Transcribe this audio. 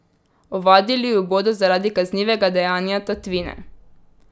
Ovadili ju bodo zaradi kaznivega dejanja tatvine.